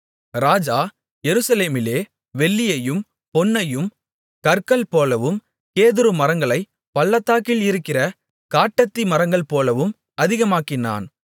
ராஜா எருசலேமிலே வெள்ளியையும் பொன்னையும் கற்கள்போலவும் கேதுருமரங்களைப் பள்ளத்தாக்கில் இருக்கிற காட்டத்தி மரங்கள்போலவும் அதிகமாக்கினான்